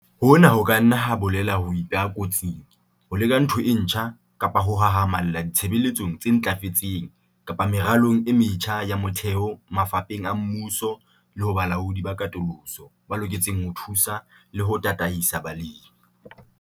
Hona ho ka nna ha bolela ho ipeha kotsing, ho leka ntho e ntjha kapa ho hahamalla ditshebeletsong tse ntlafetseng kapa meralong e metjha ya motheho mafapheng a mmuso le ho balaodi ba katoloso ba loketseng ho thusa le ho tataisa balemi.